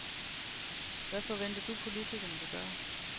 Hvad forventer du, politikerne vil gøre?